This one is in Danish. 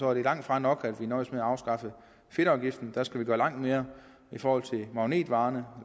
er det langtfra nok at vi nøjes med at afskaffe fedtafgiften vi skal gøre langt mere i forhold til magnetvarerne